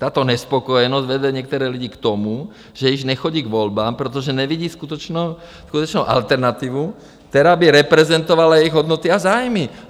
Tato nespokojenost vede některé lidi k tomu, že již nechodí k volbám, protože nevidí skutečnou alternativu, která by reprezentovala jejich hodnoty a zájmy.